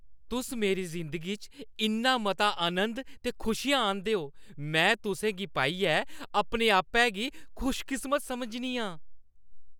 तुस मेरी जिंदगी च इन्ना मता आनंद ते खुशियां आह्‌नदे ओ। में तुसें गी पाइयै अपने आपै गी खुशकिस्मत समझनी आं।